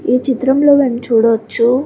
ఈ చిత్రం లో దాని చూడవచ్చు --